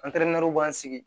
b'an sigi